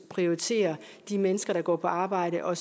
prioritere de mennesker der går på arbejde og